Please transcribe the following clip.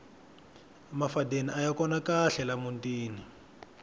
mafadeni aya kona kahle la mutini